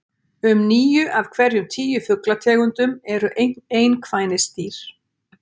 Um níu af hverjum tíu fuglategundum eru einkvænisdýr.